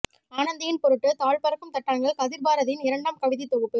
ஆனந்தியின் பொருட்டு தாழப்பறக்கும் தட்டான்கள் கதிர்பாரதியின் இரண்டாம் கவிதைத் தொகுப்பு